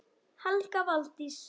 Helga Valdís.